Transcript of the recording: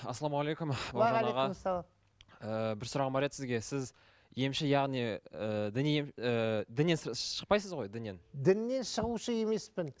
ассалаумағалейкум ііі бір сұрағым бар еді сізге із емші яғни ііі діни ііі діннен шықпайсыз ғой діннен діннен шығушы емеспін